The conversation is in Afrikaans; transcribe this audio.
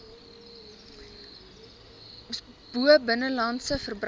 bo binnelandse verbruik